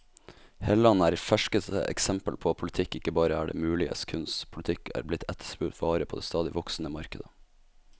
Helland er ferskeste eksempel på at politikk ikke bare er det muliges kunst, politikk er blitt etterspurt vare på det stadig voksende markedet.